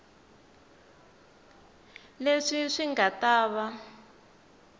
leswi swi nga ta va